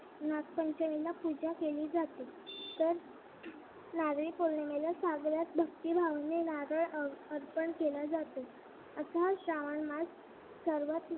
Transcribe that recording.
नागपंचमीला पूजा केली जाते तर नारळी पौर्णिमेला सागरात भक्तिभावाने नारळ अर्पण केलं जात असा हा श्रावणमास सर्वाधिक